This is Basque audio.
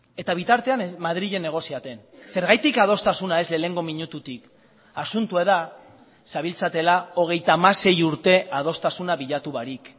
eta bitartean madrilen negoziatzen zergatik adostasuna ez lehenengo minututik asuntoa da zabiltzatela hogeita hamasei urte adostasuna bilatu barik